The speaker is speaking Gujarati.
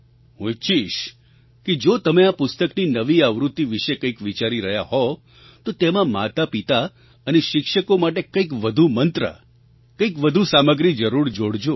હું ઈચ્છીશ કે જો તમે આ પુસ્તકની નવી આવૃત્તિ વિશે કંઈક વિચારી રહ્યા હો તો તેમાં માતાપિતા અને શિક્ષકો માટે કંઈક વધુ મંત્ર કંઈક વધુ સામગ્રી જરૂર જોડજો